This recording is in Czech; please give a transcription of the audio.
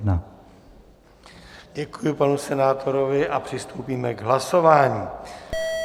Děkuji panu senátorovi a přistoupíme k hlasování.